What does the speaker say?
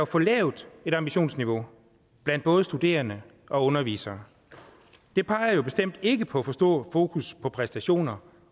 for lavt ambitionsniveau blandt både studerende og undervisere det peger jo bestemt ikke på et for stort fokus på præstationer